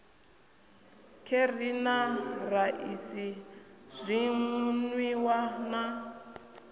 kheri na raisi zwinwiwa na